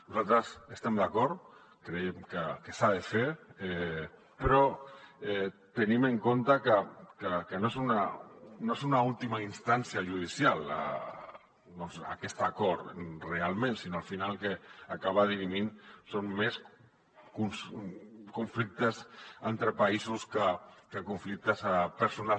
nosaltres hi estem d’acord creiem que s’ha de fer però tenim en compte que no és una última instància judicial doncs aquest acord realment sinó que al final el que acaba dirimint són més conflictes entre països que conflictes personals